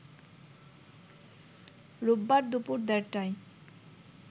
রোববার দুপুর দেড়টায়